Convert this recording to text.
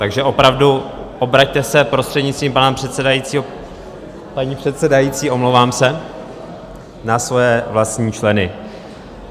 Takže opravdu, obraťte se prostřednictvím pana předsedajícího, paní předsedající, omlouvám se, na svoje vlastní členy.